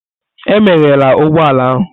Emeghela ụgbọ ala ahụ!